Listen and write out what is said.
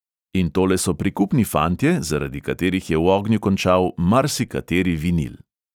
In tole so prikupni fantje, zaradi katerih je v ognju končal marsikateri vinil.